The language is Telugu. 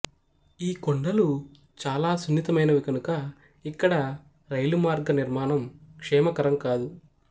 ఈ కొండలు చాలా సున్నితమైనవి కనుక ఇక్కడ రైలుమార్గ నిర్మాణం క్షేమకరం కాదు